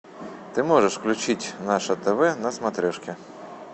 ты можешь включить наше тв на смотрешке